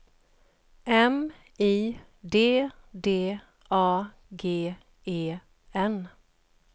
M I D D A G E N